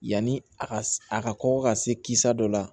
Yanni a ka a ka kɔkɔ ka se kisa dɔ la